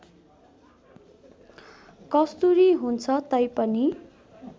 कस्तुरी हुन्छ तैपनि